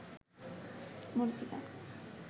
মরীচিকা